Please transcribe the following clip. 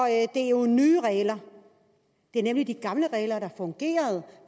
det er jo nye regler det er nemlig de gamle regler der fungerede